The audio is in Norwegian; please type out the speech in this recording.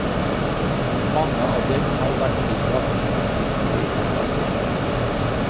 Mange av dem har vært tillagt magiske egenskaper.